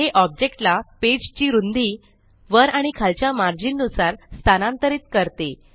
हे ऑब्जेक्ट ला पेज ची रुंदी वर आणि खालच्या मार्जिन नुसार स्थानांतरीत करते